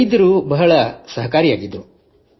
ವೈದ್ಯರು ಬಹಳ ಸಹಕಾರಿಯಾಗಿದ್ದರು